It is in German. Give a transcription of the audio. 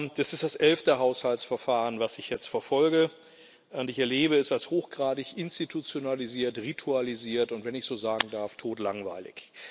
Das ist das elfte Haushaltsverfahren, das ich jetzt verfolge, und ich erlebe es als hochgradig institutionalisiert, ritualisiert und wenn ich es so sagen darf todlangweilig.